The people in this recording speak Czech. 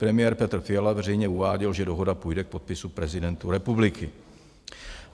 Premiér Petr Fiala veřejně uváděl, že dohoda půjde k podpisu prezidentu republiky.